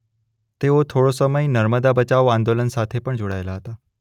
તેઓ થોડો સમય નર્મદા બચાવો આંદોલન સાથે પણ જોડાયેલા હતા.